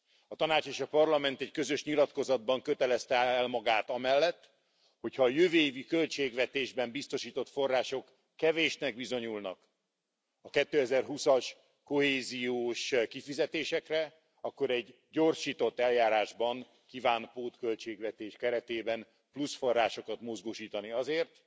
A Tanács és a Parlament egy közös nyilatkozatban kötelezte el magát amellett, hogy ha a jövő évi költségvetésben biztosított források kevésnek bizonyulnak a 2020 as kohéziós kifizetésekre, akkor egy gyorsított eljárásban kíván pótköltségvetés keretében plusz forrásokat mozgósítani azért,